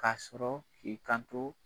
Ka sɔrɔ k'i kanto